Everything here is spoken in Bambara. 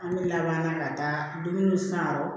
An bɛ laban ka taa dumuni san yɔrɔ